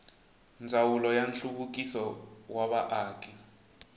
ndzawulo ya nhluvukiso wa vaaki